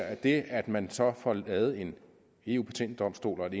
at det at man får lavet en eu patentdomstol og et